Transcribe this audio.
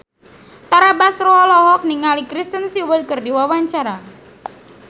Tara Basro olohok ningali Kristen Stewart keur diwawancara